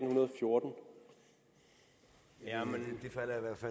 og jeg